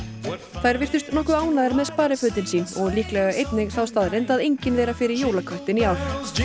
þær virtust nokkuð ánægðar með sparifötin sín og líklega einnig þá staðreynd að engin þeirra fer í jólaköttinn í ár